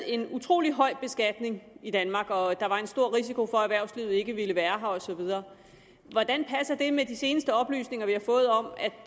en utrolig høj beskatning i danmark og at der er en stor risiko for at erhvervslivet ikke vil være her og så videre hvordan passer det med de seneste oplysninger vi har fået om